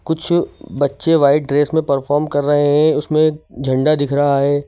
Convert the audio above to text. कुछ बच्चे white dress में परफॉर्म कर रहे हैं उसमें झंडा दिख रहा है।